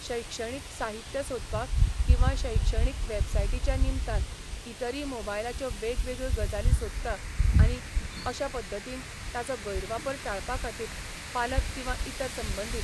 शैक्षणीक साहित्य सोदपाक किंवां शैक्षणीक वेबसायटीच्या निमतान इतरी मोबायलाच्यो वेगवेगळ्यो गजाली सोदता आणी अशा पद्दतीन ताजो गैर वापर टाळपा खातीर पालक किंवां इतर संबंदीत